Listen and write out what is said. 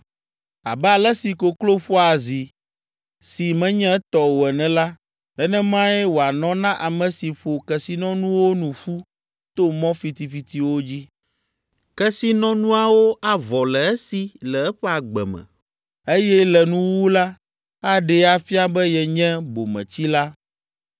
Abe ale si koklo ƒoa azi si menye etɔ o ene la, nenemae wòanɔ na ame si ƒo kesinɔnuwo nu ƒu to mɔ fitifitiwo dzi. Kesinɔnuawo avɔ le esi le eƒe agbe me, eye le nuwuwu la, aɖee afia be yenye bometsila.